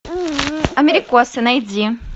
америкосы найди